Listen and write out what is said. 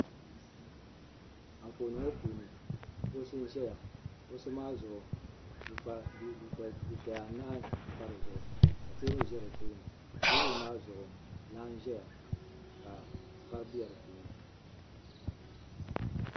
Anfooni ŋɔ puuni kuɣusi n ʒɛya kuɣusi maa puuni dufɛya anahi n pa dizuɣu ka teebuli ʒɛ di tooni teebuli maa zuɣu laa n ʒɛya ka vari bɛ di puuni